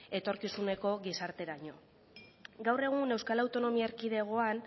etorkizuneko gizarterako gaur egun euskal autonomia erkidegoan